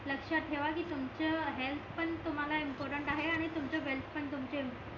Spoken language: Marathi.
लक्षात ठेवा की तुमच हेल्थ पण तुम्हाला इम्पॉर्टन्ट आहे आणि तुमचं वेल्थ पण तुमचं